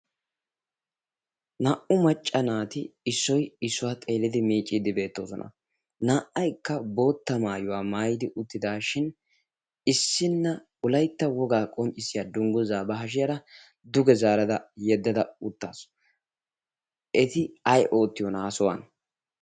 Naa'u macca naati issoy issuwaa xeelidi miicciidi beettoosona. Naa'aykka bootta maayuwaa maayidi uttidashin issinne wolaytta wogaa qonccissiya dungguzaa ba hashiyaara duge zaarada yeddada uttaasu. Eti ay oottiyona ha sohuwan?